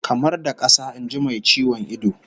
Kamar da kasa, in ji mai ciwon ido